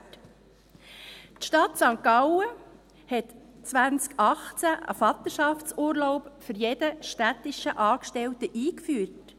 Die Stadt St. Gallen hat 2018 einen Vaterschaftsurlaub für jeden städtischen Angestellten eingeführt: